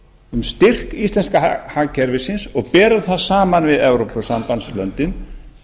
um styrk íslenska hagkerfisins og berum það saman við evrópusambandslöndin